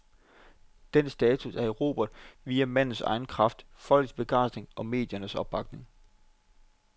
Den status er erobret via mandens egen kraft, folkets begejstring og mediernes opbakning.